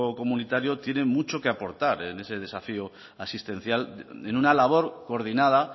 comunitario tiene mucho que aportar en ese desafío asistencial en una labor coordinada